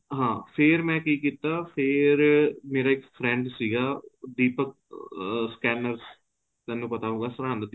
ਹਾਂ ਫੇਰ ਮੈਂ ਕਿ ਕੀਤਾ ਫੇਰ ਮੇਰਾ ਇੱਕ friend ਸੀਗਾ ਦੀਪਕ scanners ਤੇਨੂੰ ਪਤਾ ਹੋਊਗਾ ਸਰਹਿੰਦ ਦੀ